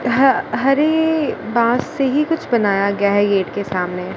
यहां हरे बांस से ही कुछ बनाया गया है गेट के सामने--